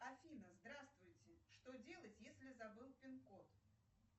афина здравствуйте что делать если забыл пин код